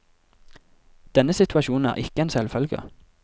Denne situasjonen er ikke en selvfølge.